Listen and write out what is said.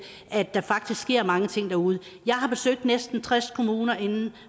at der faktisk sker mange ting derude jeg har besøgt næsten tres kommuner